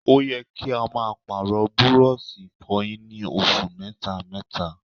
Ó yẹ kí a máa Pààrọ̀ burọ̀ṣì ìfọyín ní oṣù mẹ́ta mẹ́ta